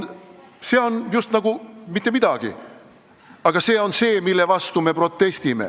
See on just nagu mitte midagi, aga see on see, mille vastu me protestime.